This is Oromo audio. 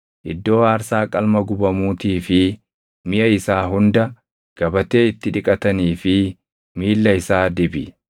iddoo aarsaa qalma gubamuutii fi miʼa isaa hunda, gabatee itti dhiqatanii fi miilla isaa dibi.